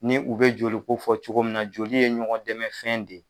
Ni u be joli ko fɔ cogo min na, joli ye ɲɔgɔn dɛmɛ fɛn de ye.